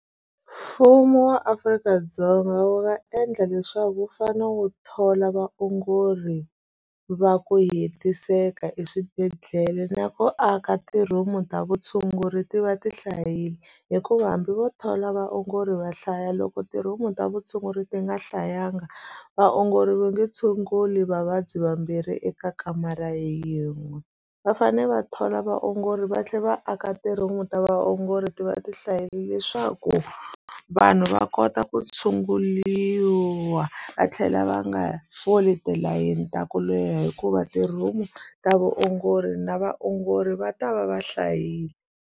Mfumo wa Afrika-Dzonga wu nga endla leswaku wu fanele wu thola vaongori va ku hetiseka eswibedhlele na ku aka ti room ta vutshunguri ti va ti hlayile hikuva hambi vo thola vaongori va hlaya loko tihomu ta vutshunguri ti nga hlayanga vaongori va nge tshunguli vavabyi vambirhi eka kamara yin'we va fane va thola vaongori va tlhela va aka ntirho wun'we ta vo nghozi ti va ti hlayile leswaku vanhu va kota ku tshunguriwa va tlhela va nga foli tilayini ta ku leha hikuva ti room ta vaongori na vaongori va ta va va hlayile.